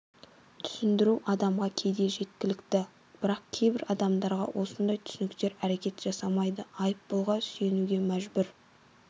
түсіндіру адамға кейде жеткілікті бірақ кейбір адамдарға осындай түсініктер әрекет жасамайды айыппұлға сүйенуге мәжбүр